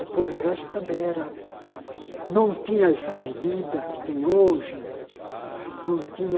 Depois o resto também era... não tinha essa avenida que tem hoje, não tinha...